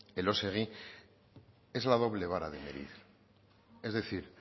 elósegui es la doble vara de medir es decir